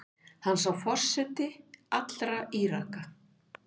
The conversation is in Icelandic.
Hann sé forseti allra Íraka.